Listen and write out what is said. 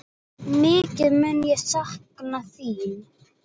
Mikið mun ég sakna þín.